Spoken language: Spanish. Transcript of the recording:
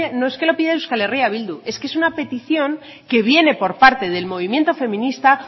no es que lo pide euskal herri bildu es que es una petición que viene por parte del movimiento feminista